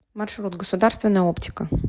маршрут государственная оптика